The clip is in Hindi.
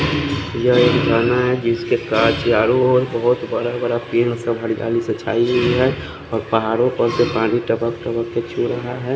यहाँ एक काना है जिसके काच चारो और बोहोत बड़ा बड़ा छाई हुई है और पहाड़ो पर से पानी टपक टपक के छु रहा है।